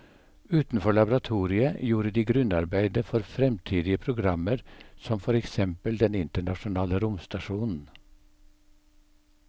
Utenfor laboratoriet gjorde de grunnarbeidet for fremtidige programmer som for eksempel den internasjonale romstasjonen.